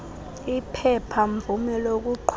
iphepha mvume lokuqhuba